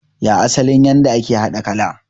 Ya asalin yadda ake haɗa kala?